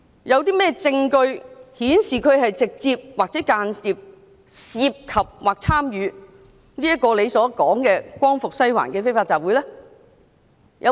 有甚麼證據顯示他直接或間接地涉及或參與何議員所說的"光復西環"的非法集會？